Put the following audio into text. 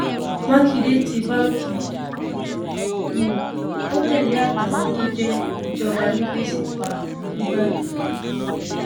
mákindé tí báǹkì um òtẹẹlì àtàwọn tó jẹ ìjọba ní gbèsè pa nìbàdàn um